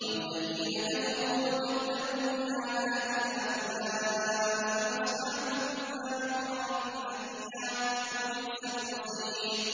وَالَّذِينَ كَفَرُوا وَكَذَّبُوا بِآيَاتِنَا أُولَٰئِكَ أَصْحَابُ النَّارِ خَالِدِينَ فِيهَا ۖ وَبِئْسَ الْمَصِيرُ